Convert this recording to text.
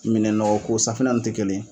Minɛnnɔgɔko safinɛ n'u tɛ kelen ye